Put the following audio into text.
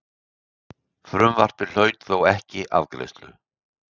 Frumvarpið hlaut þó ekki afgreiðslu.